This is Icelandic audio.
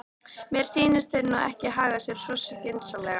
Mér sýnist þeir nú ekki haga sér svo skynsamlega.